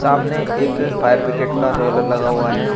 सामने एक fire brigade का रोलर लगा हुआ है।